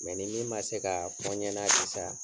ni min ma se kaa fɔ ɲɛna sisan